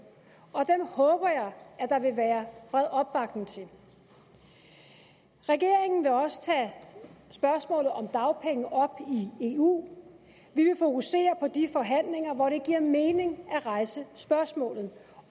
og dem håber jeg at der vil være bred opbakning til regeringen vil også tage spørgsmålet om dagpenge op i eu vi vil fokusere på de forhandlinger hvor det giver mening at rejse spørgsmålet